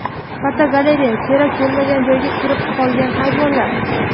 Fotogalereya: Kerak bo‘lmagan joyga kirib qolgan hayvonlar.